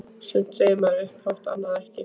Sumt segir maður upphátt- annað ekki.